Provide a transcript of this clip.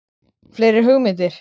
Fleiri hugmyndir?